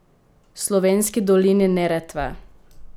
V slovenski dolini Neretve?